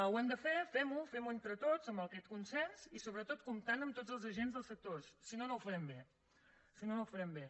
ho hem de fer fem ho femho entre tots amb aquest consens i sobretot comptant amb tots els agents dels sectors si no no ho farem bé si no no ho farem bé